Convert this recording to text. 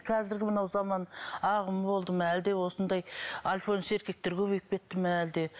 қазіргі мынау заман ағымы болды ма әлде осындай альфонс еркектер көбейіп кетті ме әлде